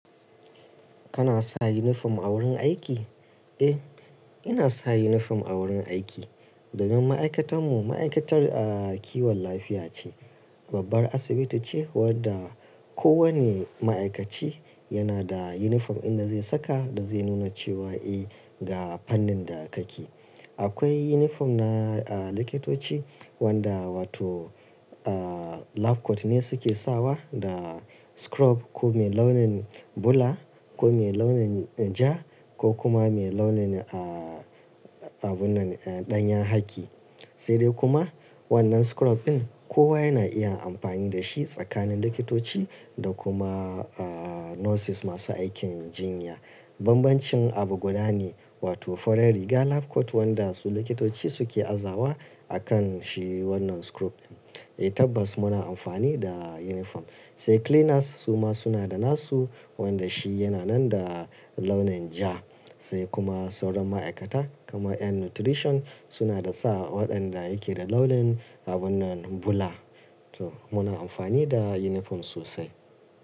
Kana sa uniform a wurin aiki? Eh, ina sa uniform a wurin aiki. Domin ma'aikatan mu ma'aikatar, ah, kiwon lafiya ce. Babbar asibiti ce wadda kowane ma'aikaci yana da uniform inda zai saka da zai nuna cewa eh, ga fannin da kake. Akwai uniform na, ah, likitoci wadda wato, ah, lab coat ne suke sawa da scrub ko mai launin bula ko mai launin ja ko kuma mai launin, ah, abunan, eh, ɗanyen haki. Sai dai kuma wannan scrub ɗin kowa yana iya amfani da shi tsakanin likitoci da kuma, ah, nurses masu aikin jinya. Banbancin abu guda ne wato farar riga lab coat wanda su likitoci suke azawa a kan shi wannan scrub ɗin. Eh, tabbas muna amfani da uniform. Sai cleaners su ma suna da nasu wanda shi yana nan da launin ja. Sai kuma sauran ma'aikata kamar ƴan nutrition suna da sa waɗanda yake da launin abunan bula. To muna amfani da uniform sosai.